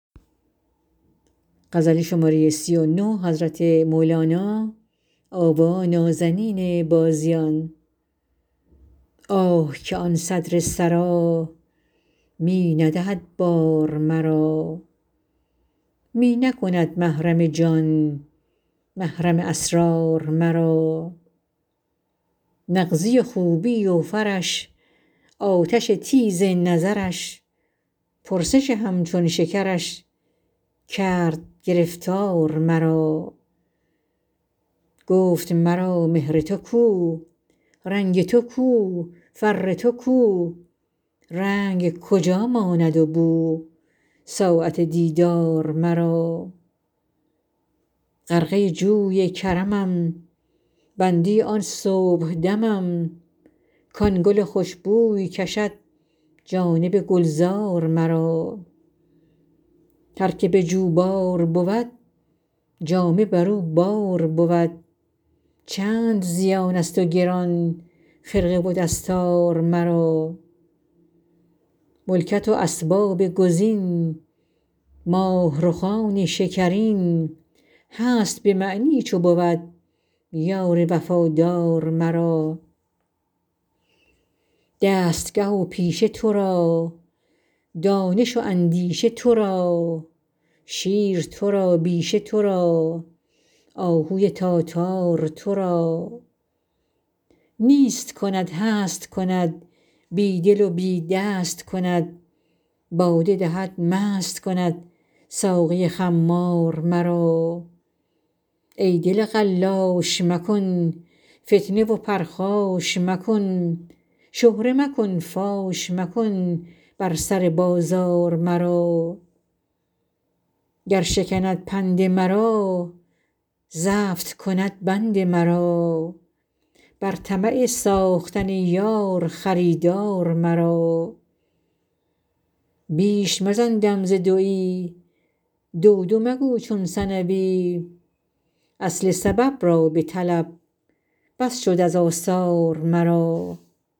آه که آن صدر سرا می ندهد بار مرا می نکند محرم جان محرم اسرار مرا نغزی و خوبی و فرش آتش تیز نظرش پرسش همچون شکرش کرد گرفتار مرا گفت مرا مهر تو کو رنگ تو کو فر تو کو رنگ کجا ماند و بو ساعت دیدار مرا غرقه جوی کرمم بنده آن صبحدمم کان گل خوش بوی کشد جانب گلزار مرا هر که به جوبار بود جامه بر او بار بود چند زیانست و گران خرقه و دستار مرا ملکت و اسباب کز این ماه رخان شکرین هست به معنی چو بود یار وفادار مرا دستگه و پیشه تو را دانش و اندیشه تو را شیر تو را بیشه تو را آهوی تاتار مرا نیست کند هست کند بی دل و بی دست کند باده دهد مست کند ساقی خمار مرا ای دل قلاش مکن فتنه و پرخاش مکن شهره مکن فاش مکن بر سر بازار مرا گر شکند پند مرا زفت کند بند مرا بر طمع ساختن یار خریدار مرا بیش مزن دم ز دوی دو دو مگو چون ثنوی اصل سبب را بطلب بس شد از آثار مرا